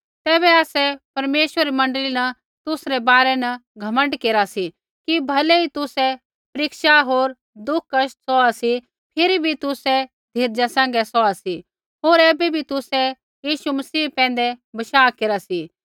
तैबै आसै परमेश्वरा री मण्डली न तुसरै बारै न घमण्ड केरा सी कि भलै ही तुसै परीक्षा होर दुख कष्ट सौहा सी फिरी भी तुसै धीरजा सैंघै सौहा सी होर ऐबै भी तुसै यीशु मसीह पैंधै बशाह केरा सी